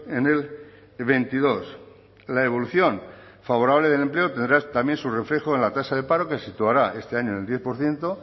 en el veintidós la evolución favorable del empleo tendrá también su reflejo en la tasa de paro que se situará este año en el diez por ciento